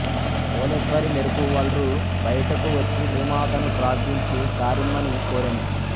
పోలేస్వరి మెరుపు వలృ బయటకు వచ్చి భుమాతను ప్రార్థించి దారిమ్మని కోరెను